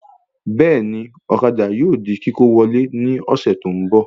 Bẹ́ẹ̀ni, ọ̀kadà yóò di kíkó wọlé ní ọ̀sẹ̀ tó ń bọ̀